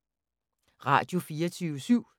Radio24syv